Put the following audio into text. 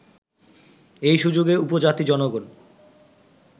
এই সুযোগে উপজাতি জনগণ